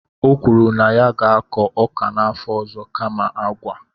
o kwuru na ya ga-akọ ọka n'afọ ọzọ kama agwa.